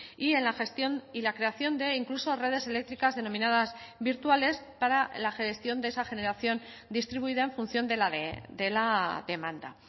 y en la gestión y la creación de incluso redes eléctricas denominadas virtuales para la gestión de esa generación distribuida en función de la demanda